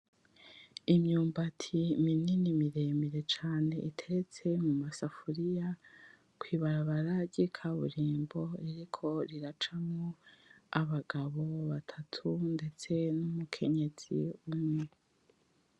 Imyumbati minini miremire cane, iteretse muma safuriya kw'ibarabara ry’ikaburimbo ririko riracamwo abagabo batatu ndetse n’Umukenyezi umwe.